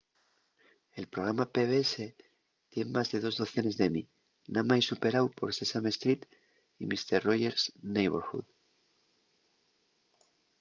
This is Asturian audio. el programa pbs tien más de dos docenes d'emmy namái superáu por sesame street y mister roger's neighborhood